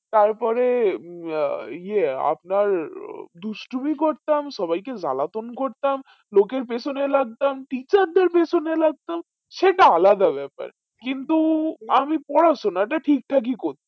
তারপরে উম আহ ইয়ে আপনার ও দুষ্টুমি করতাম সবাই কে জ্বালাতন করতাম লোকের পিছোনে লাগতাম teacher দের পিছনে লাগতাম সেটা আলাদা বেপার কিন্তু আমি পড়াশোনাটা ঠিক ঠাকই করতাম